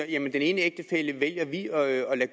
ene ægtefælle